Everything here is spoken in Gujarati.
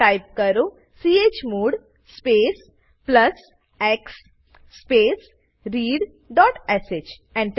ટાઈપ કરો chmod space plus x space readશ Enter